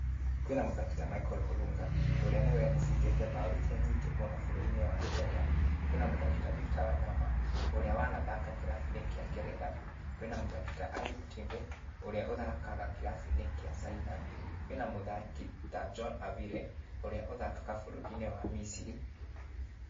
Kwĩna mũthaki ta Michael Orunga, ũrĩa nĩwe ũbungĩte mbaũ iria nyingĩ mũno bũrũri-inĩ wa Kenya. Kwĩ na mũthaki ta Victor Wanyama ũrĩa wanathaka kĩrabu-inĩ kĩa ngeretha. Kwĩna mũthaki ta Aib Tembe, ũrĩa ũthakaga kĩrabu-inĩ kĩa Caina. Kwĩna muthaki ta John Avile ũrĩa ũthakaga bũrũri-inĩ wa Miciri.